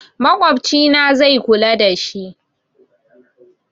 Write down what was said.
Makwabcina zai kula dashi